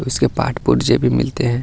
उसके पार्ट पुर्जे भी मिलते हैं।